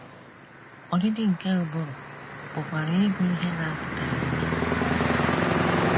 Ọdịdị nke ụbụrụ pụkwara ịbụ ihe na - apụtaghị ìhè na - akpata ya.